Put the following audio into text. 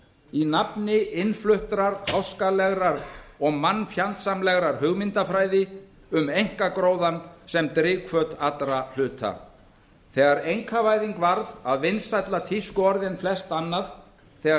í nafni innfluttrar háskalegrar og mannfjandsamlegrar hugmyndafræði um einkagróðann sem drifhvöt allra hluta þegar einkavæðing varð að vinsælla tískuorði en flest annað þegar